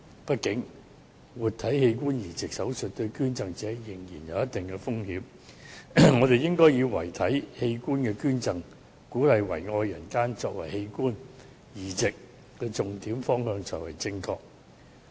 畢竟，活體器官移植手術對於捐贈者仍有一定風險，我們應以遺體器官捐贈，鼓勵遺愛人間，作為器官移植重點方向，這才是正確的。